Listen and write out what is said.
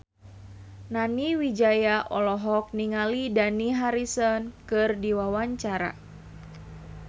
Nani Wijaya olohok ningali Dani Harrison keur diwawancara